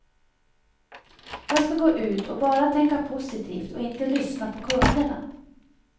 Jag ska gå ut och bara tänka positivt och inte lyssna på kunderna.